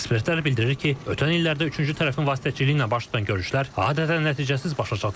Ekspertlər bildirir ki, ötən illərdə üçüncü tərəfin vasitəçiliyi ilə baş tutan görüşlər adətən nəticəsiz başa çatırdı.